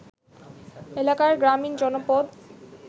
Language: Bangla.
এলাকার গ্রামীণ জনপদ